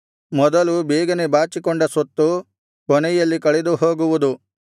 ಮೊದಲು ಬೇಗನೆ ಬಾಚಿಕೊಂಡ ಸ್ವತ್ತು ಕೊನೆಯಲ್ಲಿ ಕಳೆದು ಹೋಗುವುದು